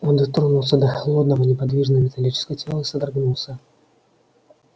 он дотронулся до холодного неподвижного металлического тела и содрогнулся